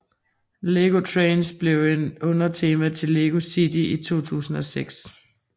Lego Trains blev et undertema til Lego City i 2006